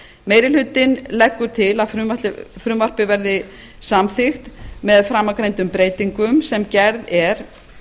meiri hlutinn leggur til að frumvarpið verði samþykkt með framangreindum breytingum sem gerð er